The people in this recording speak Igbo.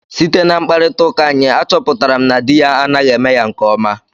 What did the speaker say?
Site na mkparịtaụka anyị, achọpụtara m na di ya anaghị eme ya nke ọma.